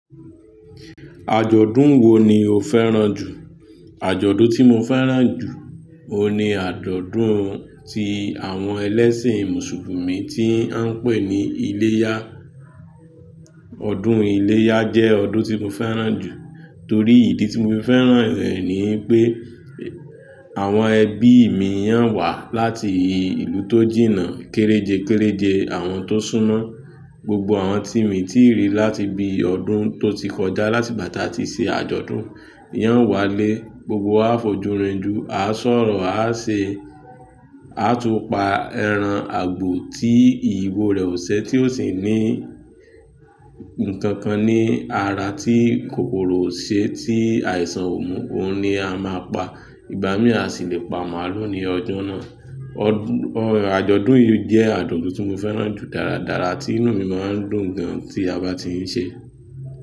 Àjọ̀dún wo ni o fẹ́ràn jù? Àjọ̀dún tí mo fẹ́ràn jù, òun ni àjọ̀dún ti àwọn ẹlẹ́sìn Mùsùlùmí tí ń pè ní iléyá. Ọdún iléyá jẹ́ ọdún tí mo fẹ́ràn jù torí ìdí tí mo fi fẹ́ràn rẹ̀ ni pé àwọn ẹbí mi yàn wá láti ìlú tó jìnnà kéréje kéréje àwọn tó súnmọ́. Gbogbo àwọn tí mi tí rí láti bí i ọdún tó ti kọjá láti ìgbà tí a ti ṣe àjọ̀dún, yan wálé. Gbogbo wa á fojú rin ju, a á sọ̀rọ̀, a á ṣe, a á tún pa ẹran àgbò tí ìbò rẹ̀ ò ṣe tí ó sì ní ǹkan kan ní ara tí kòkòrò ò ṣe tí àìsàn ò mú. Òun ni a máa pa, ìgbá mí a sì lè pa màálù ní ọjọ́ náà. Ọ̀, àjọ̀dún yìí jẹ́ àjọ̀dún tí mo fẹ́ràn jù dáradára tí inú mi máa ń dùn gan tí a bá tí ń ṣe.